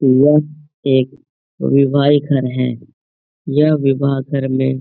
यह एक विवाही घर है । यह विवाह घर में --